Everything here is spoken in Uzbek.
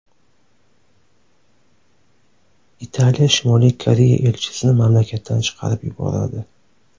Italiya Shimoliy Koreya elchisini mamlakatdan chiqarib yuboradi.